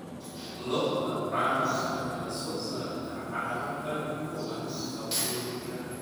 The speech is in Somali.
Lo'da caanaha ayaa soo saarta caano qani ku ah nafaqooyinka.